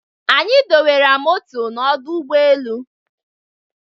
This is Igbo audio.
anyi dọwara moto n'ọdụ ụgbọ elu